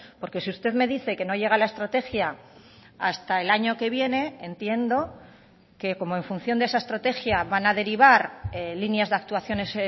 porque si usted me dice que no llega la estrategia hasta el año que viene entiendo que como en función de esa estrategia van a derivar líneas de actuaciones